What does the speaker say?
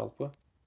жалпы